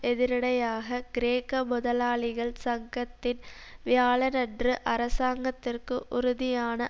எதிரிடையாக கிரேக்க முதலாளிகள் சங்கத்தின் வியாழனன்று அரசாங்கத்திற்கு உறுதியான